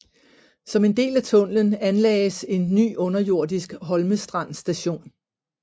Som en del af tunnelen anlagdes en ny underjordisk Holmestrand Station